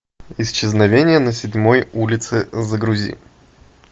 исчезновение на седьмой улице загрузи